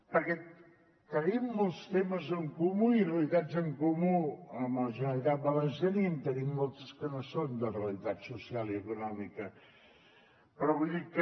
perquè tenim molts temes en comú i realitats en comú amb la generalitat valenciana i en tenim molts que no són de realitat social i econòmica però vull dir que